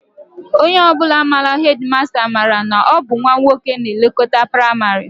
Onye ọ bụla bụ hedịmasta, mara na ọ bụ nnwa nwoke na-elekọta praịmarị